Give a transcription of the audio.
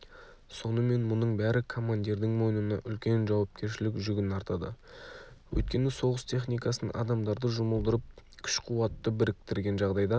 сонымен мұның бәрі командирдің мойнына үлкен жауапкершілік жүгін артады өйткені соғыс техникасын адамдарды жұмылдырып күш-қуатты біріктірген жағдайда